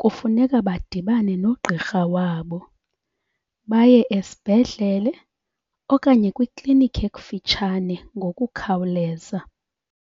kufuneka badibane nogqirha wabo, baye esibhedlele okanye kwikliniki ekufutshane ngokukhawuleza.